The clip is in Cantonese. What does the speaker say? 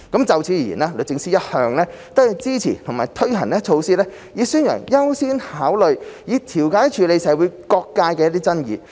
就此而言，律政司一向支持並推行措施以宣揚優先考慮以調解處理社會各界的爭議。